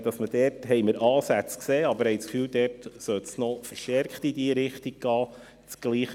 Dort haben wir Ansätze gesehen, aber wir haben den Eindruck, dass es noch stärker in diese Richtung gehen sollte.